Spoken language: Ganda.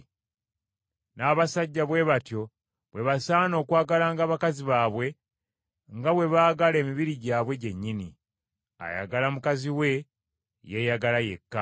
N’abasajja bwe batyo bwe basaana okwagalanga bakazi baabwe, nga bwe baagala emibiri gyabwe gyennyini. Ayagala mukazi we yeeyagala yekka.